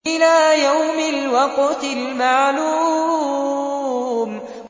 إِلَىٰ يَوْمِ الْوَقْتِ الْمَعْلُومِ